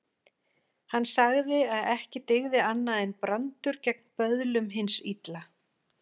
Hann sagði að ekki dygði annað en brandur gegn böðlum hins illa.